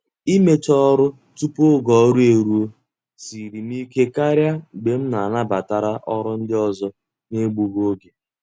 Imecha ọrụ tupu oge ọrụ ruo siere m ike karị mgbe m nabatara ọrụ ndị ọzọ n'egbughi oge.